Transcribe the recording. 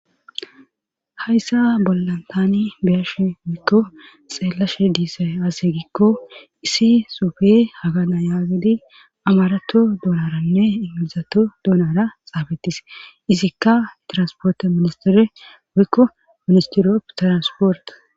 Hayssa bollantaani beyashe wuikko xeellashe diise ase gikko isi sufe hagana yaagedi amarato dolaranne ingilizato duunara xaafettis izikka transporte ministire wikko ministiroppe transporta